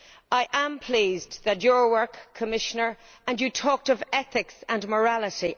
I am pleased about your work, Commissioner, and you talked of ethics and morality.